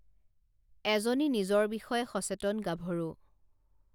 এজনী নিজৰ বিষয়ে সচেতন গাভৰু